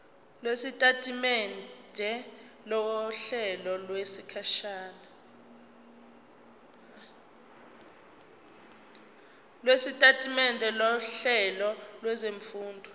lwesitatimende sohlelo lwezifundo